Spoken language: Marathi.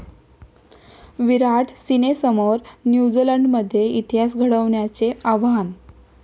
विराट'सेनेसमोर न्यूझीलंडमध्ये इतिहास घडवण्याचे आव्हान